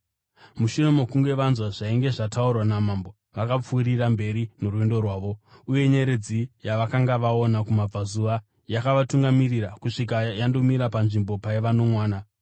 Mushure mokunge vanzwa zvainge zvataurwa naMambo, vakapfuurira mberi norwendo rwavo, uye nyeredzi yavakanga vaona kumabvazuva yakavatungamirira kusvikira yandomira panzvimbo paiva nomwana.